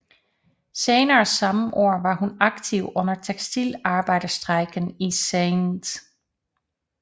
Senere samme år var hun aktiv under tekstilarbejderstrejken i St